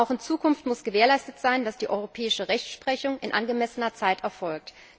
Auch in Zukunft muss gewährleistet sein, dass die europäische Rechtsprechung in angemessener Zeit erfolgt.